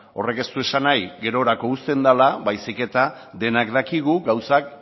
horrek ez du esan bahi gerorako uzten dela baizik eta denok dakigu gauzak